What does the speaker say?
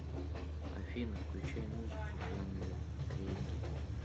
афина включай музыку в жанре регги